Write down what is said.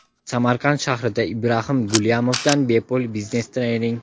Samarqand shahrida Ibraxim Gulyamovdan bepul biznes trening!.